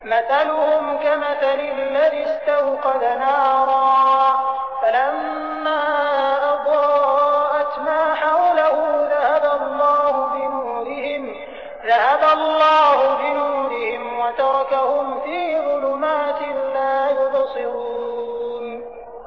مَثَلُهُمْ كَمَثَلِ الَّذِي اسْتَوْقَدَ نَارًا فَلَمَّا أَضَاءَتْ مَا حَوْلَهُ ذَهَبَ اللَّهُ بِنُورِهِمْ وَتَرَكَهُمْ فِي ظُلُمَاتٍ لَّا يُبْصِرُونَ